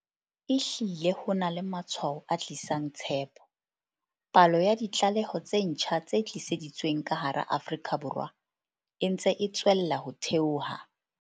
Ehlile ho na le matshwao a tlisang tshepo. Palo ya ditlaleho tse ntjha tse tiiseditsweng ka hara Afrika Borwa e ntse e tswella ho theoha.